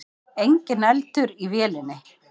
Enginn eldur í vélinni